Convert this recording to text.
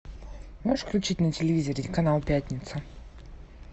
можешь включить на телевизоре канал пятница